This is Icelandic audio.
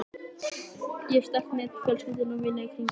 Ég hef sterkt net fjölskyldu og vina í kringum mig.